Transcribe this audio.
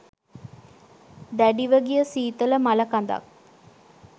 දැඩිව ගිය සීතල මළකඳක්.